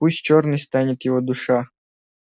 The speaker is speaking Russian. пусть чёрной станет его душа